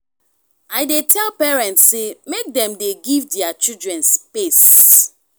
i dey tell parents sey make dem dey give their children space.